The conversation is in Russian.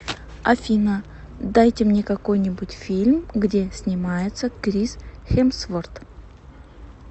афина дайте мне какой нибудь фильм где снимается крис хемсворт